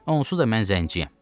Onsuz da mən zəngçiyəm.